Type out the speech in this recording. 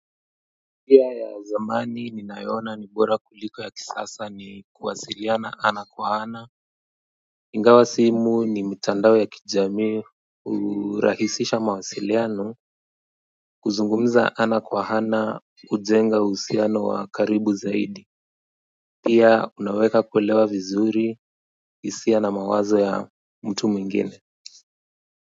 Pia ya zamani ninayoona ni bora kuliko ya kisasa ni kuwasiliana ana kwa ana ingawa simu ni mitandao ya kijamii hurahisisha mawasiliano kuzungumza ana kwa ana hujenga uhusiano wa karibu zaidi pia unaweka kuelewa vizuri hisia na mawazo ya mtu mwingine.